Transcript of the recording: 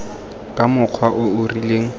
ka mokgwa o o rileng